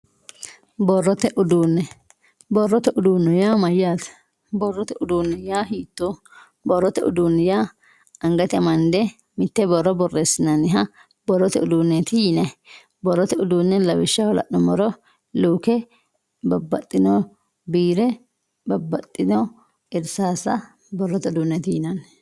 borrote uduunne borrote uduunne yaa mayyaate borrote uduunne yaa hiittooho borrote uduunni yaa angate amande mitte borro borreessinanniha borrote uduunneeti yinayii borrote uduunne lawishshaho la'nummoro luuke babbaxxino biire babbaxxino irsaassa borrote uduunneeti yinanni.